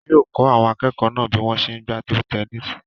Wọn yóò kọ́ àwọn akẹ́kọ̀ọ́ náà bí wọ́n ṣe n gbá tebu-tẹnísì